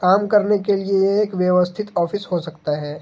काम करने के लिए ये एक व्यवस्थित ऑफिस हो सकता है।